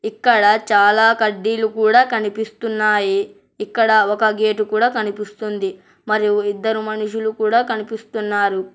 ఇక్కడ చాలా కడ్డీలు కూడా కనిపిస్తున్నాయి ఇక్కడ ఒక గేట్ కూడా కనిపిస్తుంది మరియు ఇద్దరు మనుషులు కూడా కనిపిస్తున్నారు.